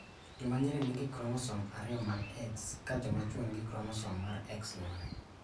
Jomanyiri nigi kromosom ariyo mag X ka jomachuo nigi kromosom mar X gi Y